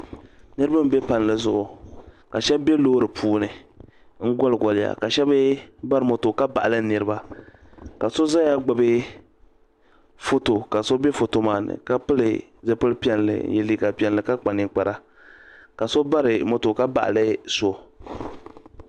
niraba n bɛ palli zuɣu ka shab bɛ loori puuni n goli goliya ka shab mii bari moto ka baɣali niraba ka so ʒɛya gbubi foto ka so bɛ foto maa ni ka pili zipili piɛlli n yɛ liiga piɛlli ka kpa ninkpara ka so bari moto ka baɣali so